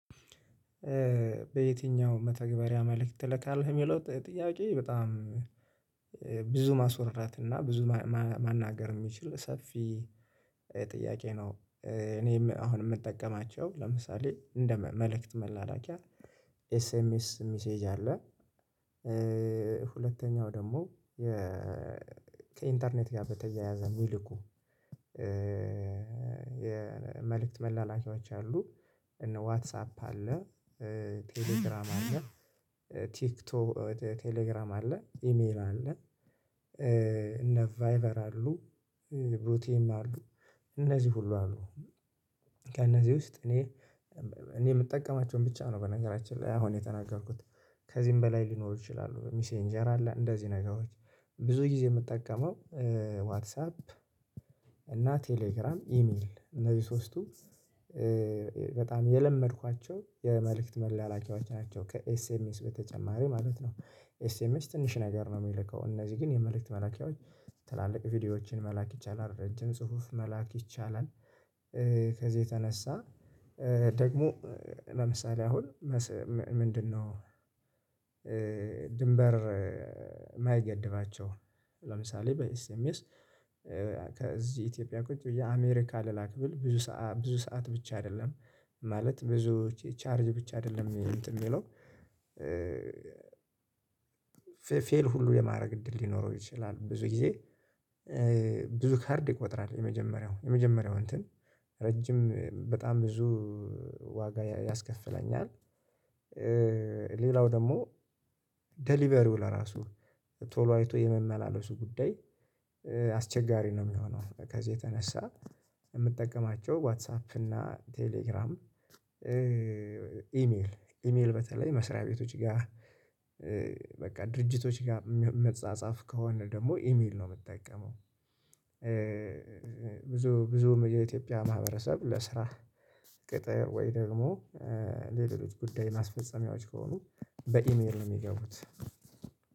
በየትኛው መተግበሪያ መልእክት ትልካለህ የሚለው ጥያቄ በጣም ብዙ ማስወራት እና ብዙ ማናገር የሚችል ሰፊ ጥያቄ ነው? እኔም አሁን የምጠቀማቸው ለምሳሌ እንደ መልእክት መላላኪያ ኤስኤምኤስ ሚሴጅ አለ። ሁለተኛው ደግሞ ከኢንተርኔት ጋር በተያያዘ ሚልኩ የመልእክት መላላኪዎች አሉ። እነ ዋትሳፕ አለ ቴሌግራም ቲክቶክ ቴሌግራም አለ ኢሜል አለ። እነ ቫይበር አሉ ቡቲም አሉ እነዚህ ሁሉ አሉ። ከእነዚህ ውስጥ እኔ እኔ የምጠቀማቸውን ብቻ ነው በነገራችን ላይ አሁን የተናገርኩት ከዚህም በላይ ሊኖሩ ይችላሉ። ሚሴንጀር አለ እንደዚህ ነገሮች ብዙ ጊዜ የምጠቀመው ዋትሳፕ እና ቴሌግራም ኢሜል እነዚህ ሶስቱ በጣም የለመድኳቸው የመልእክት መላላኪያዎች ናቸው። ከኤስኤምኤስ በተጨማሪ ማለት ነው። ኤስኤምኤስ ትንሽ ነገር ነው የሚልከው እነዚህ ግን የመልእክት መላኪያዎች ትላልቅ ቪዲዮዎችን መላክ ይቻላል ረጅም ጽሁፍ መላክ ይቻላል። ከዚህ የተነሳ ደግሞ ለምሳሌ አሁን ምንድነው? ድንበር የማይገድባቸው ለምሳሌ በኤስኤምኤስ ከዚህ ኢትዮጵያ ቁጭ ብዬ አሜሪካ ልላክ ብል ብዙ ሰዓት ብቻ አይደለም ማለት ብዙ ቻርጅ ብቻ አይደለም እንትን ሚለው ፌል ሁሉ የማድረግ እድል ሊኖረው ይችላል። ብዙ ጊዜ ብዙ ካርድ ይቆጥራል የመጀመሪያው የመጀመሪያው እንትን ረጅም በጣም ብዙ ዋጋ ያስከፍለኛል። ሌላው ደግሞ ዴሊቨሪው ለራሱ ቶሎ አይቶ የመመላለሱ ጉዳይ አስቸጋሪ ነው የሚሆነው። ከዚህ የተነሳ የምጠቀማቸው ዋትሳፕ እና ቴሌግራም ኢሜል ኢሜል በተለይ መስሪያ ቤቶች ጋር በቃ ድርጅቶች ጋር ምጻጻፍ ከሆነ ደግሞ ኢሜል ነው የምጠቀመው። ብዙ ብዙ የኢትዮጵያ ማህበረሰብ ለስራ ቅጥር ወይ ደግሞ ለሌሎች ጉዳይ ማስፈጸሚያዎች ከሆኑ በኢሜል ነው የሚገቡት።